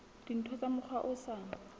dintho ka mokgwa o sa